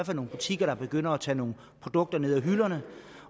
fald nogle butikker der begynder at tage nogle produkter ned af hylderne